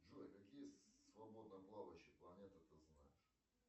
джой какие свободно плавающие планеты ты знаешь